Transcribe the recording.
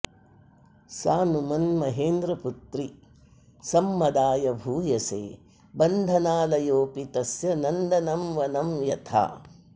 सानुमन्महेन्द्रपुत्रि सम्मदाय भूयसे बन्धनालयोऽपि तस्य नन्दनं वनं यथा